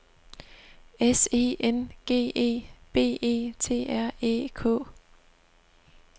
S E N G E B E T R Æ K